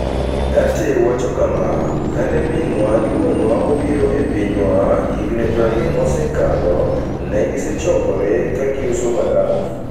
Duarte wacho kama: "Kane minwa gi wuonwa obiro e pinywa higini 20 mosekalo, ne gisechokore ka giuso baraf.